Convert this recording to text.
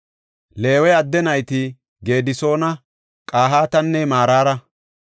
Leewe adde nayti Gedisoona, Qahaatanne Maraara.